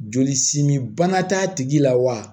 Joli simibana t'a tigi la wa